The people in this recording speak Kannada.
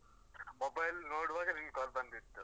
Mobile ನೋಡುವಾಗ ನಿನ್ನ್ call ಬಂದಿತ್ತು.